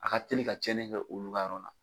A ka teli ka tiɲɛni kɛ olu ka yɔrɔ la.